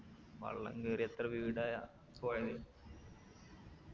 വെള്ളം കേറി എത്ര വീടാ പോയത്